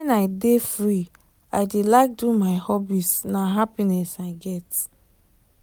when i dey free i dey like do my hobbies na happiness i get.